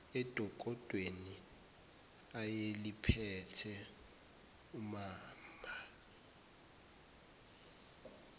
edokodweni ayeliphethe umamba